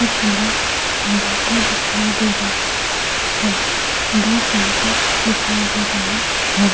कुछ लोग बैठे दिखाई दे रहे हैं दो पंखे दिखाई दे रहे हैं।